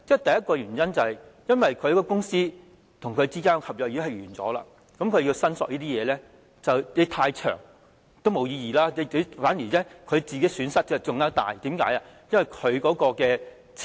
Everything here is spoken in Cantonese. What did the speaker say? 第一個原因，是公司與僱員之間的合約已結束，如果在長時間後才進行申索是沒有意義的，反而會令人損失更大，因為拿不到金錢。